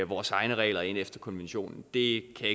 vores egne regler ind efter konventionen det kan